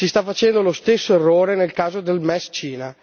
Si sta facendo lo stesso errore nel caso del MES Cina.